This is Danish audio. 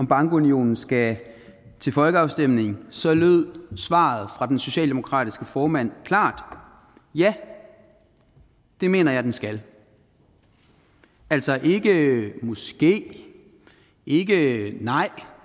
bankunionen skal til folkeafstemning så lød svaret fra den socialdemokratiske formand klart ja det mener jeg den skal altså ikke måske ikke et nej